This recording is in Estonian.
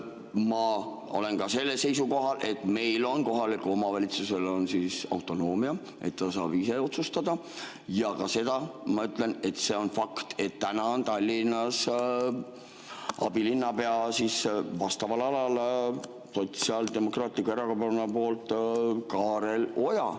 Ma olen ka sellel seisukohal, et meil on kohalikul omavalitsusel autonoomia, et ta saab ise otsustada, ja ka seda ma ütlen, et see on fakt, et täna on Tallinnas vastava ala abilinnapea Sotsiaaldemokraatliku Erakonna poolt Kaarel Oja.